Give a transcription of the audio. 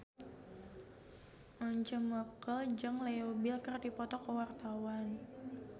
Once Mekel jeung Leo Bill keur dipoto ku wartawan